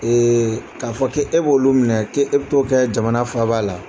k'a fɔ k'e b'olu minɛ k'e e bɛ t'o kɛ jamana faaba la